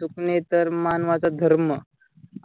चुकणे तर मानवाचा धर्म.